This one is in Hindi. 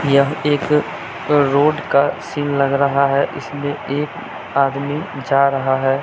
यह एक रोड का सीन लग रहा है इसमें एक आदमी जा रहा है।